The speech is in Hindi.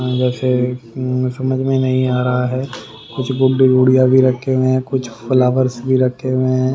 वैसे समझ में नहीं आ रहा है कुछ गुड्डी गुड़िया भी रखे हुए हैं कुछ फ्लावर्स भी रखे हुए हैं।